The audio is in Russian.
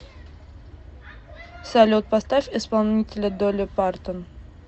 салют поставь исполнителя долли партон